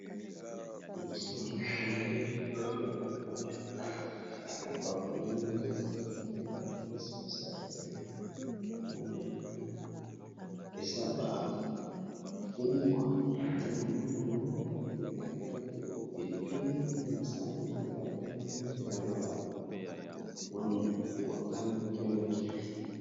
Liboso na nga boye nazo mona sani eza na bileyi. Eza na ndunda na mabaku ebele na pilipili likolo. Epesi posa.